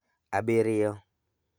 Abirio.